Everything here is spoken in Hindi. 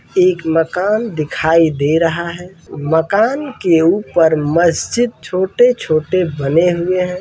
एक मकान दिखाई दे रहा है मकान के ऊपर मस्जिद छोटे-छोटे बने हुए हैं।